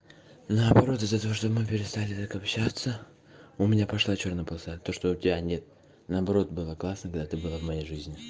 наоборот из-за того что мы перестали так общаться у меня пошла чёрная полоса то что у тебя нет наоборот было классно когда ты была в моей жизни